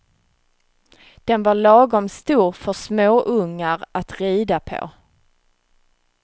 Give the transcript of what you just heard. Den var lagom stor för småungar att rida på.